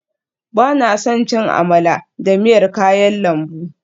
Ba na son cin amala da miyar kayan lambu